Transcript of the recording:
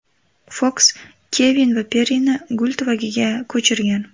Foks Kevin va Perrini gul tuvagiga ko‘chirgan.